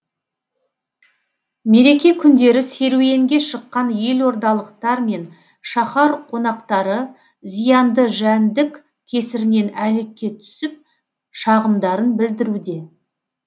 мереке күндері серуенге шыққан елордалықтар мен шаһар қонақтары зиянды жәндік кесірінен әлекке түсіп шағымдарын білдіруде